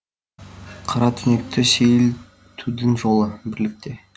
қара түнекті сейілтудің жолы бірлікте